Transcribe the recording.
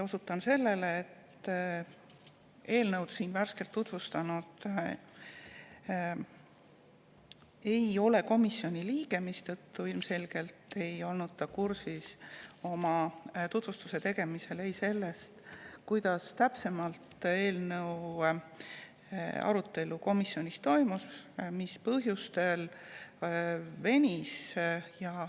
Osutan sellele, et eelnõu siin tutvustanu ei ole komisjoni liige, mistõttu ta ilmselgelt ei olnud tutvustuse tegemisel kursis sellega, kuidas eelnõu arutelu komisjonis toimus ja mis põhjusel see venis.